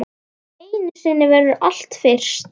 Einu sinni verður allt fyrst.